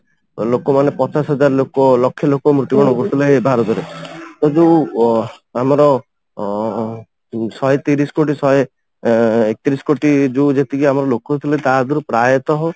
ଲୋକ ମାନେ ପଚାଶ ହଜାର ଲୋକ ଲକ୍ଷେ ଲୋକ ମୃତ୍ୟୁବରଣ କରୁଥିଲେ ଭାରତରେ ଏଇ ଯୋଉ ଆମର ଅ ଶହେ ତିରିଶ କୋଟି ଶହେ ଏକତିରିଶ କୋଟି ଯୋଉ ଯେତିକି ଆମର ଲୋକ ତା ଭିତରୁ ପ୍ରାୟତଃ